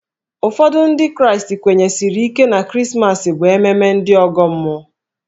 Ụfọdụ Ndị Kraịstị kwenyesiri ike na Krismas bụ ememme ndị ọgọ mmụọ.